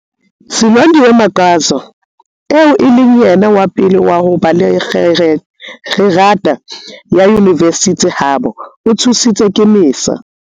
Silondiwe Magwaza, eo e leng yena wa pele wa ho ba le kgerata ya yunivesithi habo, o thusitswe ke MISA.